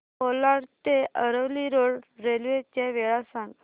कोलाड ते Aravali road railway च्या वेळा सांग